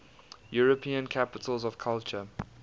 european capitals of culture